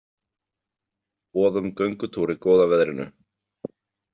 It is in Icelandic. Boð um göngutúr í góða veðrinu.